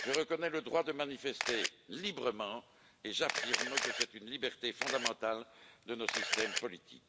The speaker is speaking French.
je reconnais le droit de manifester librement et j'affirme que c'est une liberté fondamentale de nos systèmes politiques.